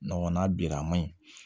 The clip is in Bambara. n'a bira a ma ɲi